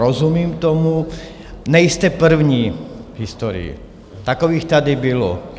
Rozumím tomu, nejste první v historii, takových tady bylo.